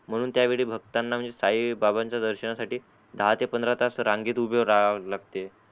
म्हणून त्यावेळी भक्ताना म्हणजे साई बाबांच्या दर्शनासाठी दहा ते पंधरा तास रांगेत उभे राहाव लागते.